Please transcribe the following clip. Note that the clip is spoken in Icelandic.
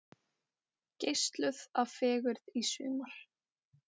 Geislaðu af fegurð í sumar